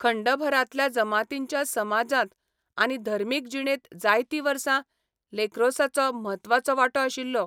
खंडभरांतल्या जमातींच्या समाजांत आनी धर्मीक जिणेंत जायतीं वर्सां लॅक्रोसाचो म्हत्वाचो वांटो आशिल्लो.